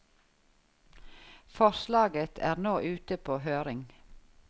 Forslaget er nå ute på høring.